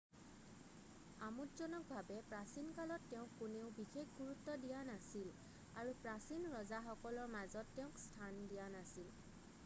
আমোদজনকভাৱে প্ৰাচীন কালত তেওঁক কোনেও বিশেষ গুৰুত্ব দিয়া নাছিল আৰু প্ৰচীন ৰজাসকলৰ মাজত তেওঁক স্থান দিয়া নাছিল